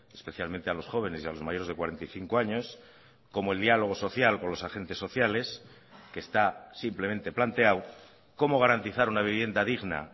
especialmente a los jóvenes y a los mayores de cuarenta y cinco años como el diálogo social con los agentes sociales que está simplemente planteado como garantizar una vivienda digna